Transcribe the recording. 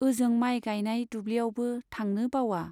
ओजों माइ गाइनाय दुब्लियावबो थांनो बावआ।